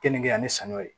Kenige ani saniya ye